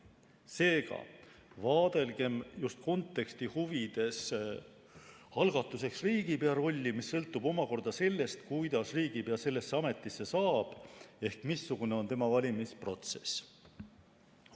Seega, vaadelgem just konteksti huvides algatuseks riigipea rolli, mis sõltub omakorda sellest, kuidas riigipea sellesse ametisse saab ehk missugune on tema valimise protsess.